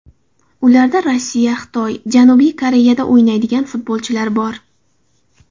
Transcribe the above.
Ularda Rossiya, Xitoy, Janubiy Koreyada o‘ynaydigan futbolchilar bor.